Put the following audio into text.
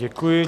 Děkuji.